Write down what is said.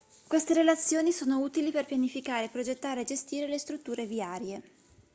queste relazioni sono utili per pianificare progettare e gestire le strutture viarie